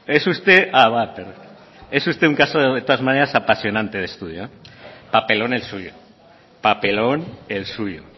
un caso de todas maneras apasionante de estudio papelón el suyo papelón el suyo